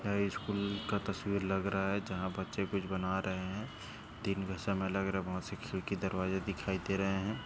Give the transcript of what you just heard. यह स्कूल का तस्वीर लग रहा हैं जहाँ बच्चे कुछ बना रहे हैं। दिन का समय लग रहा हैं। वहां से खिडकी दरवाजे दिखाई दे रहे हैं।